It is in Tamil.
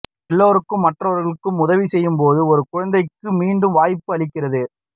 எல்லோருக்கும் மற்றவர்களுக்கு உதவி செய்யும் போது ஒரு குழந்தைக்கு மீண்டும் வாய்ப்பு அளிக்கிறது